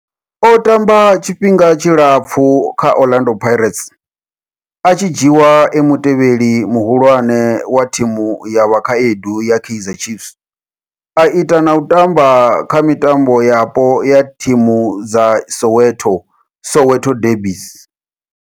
O tamba tshifhinga tshilapfhu kha Orlando Pirates, a tshi dzhiiwa e mutevheli muhulwane wa thimu ya vhakhaedu ya Kaizer Chiefs, a ita na u tamba kha mitambo yapo ya thimu dza Soweto, Soweto derbies.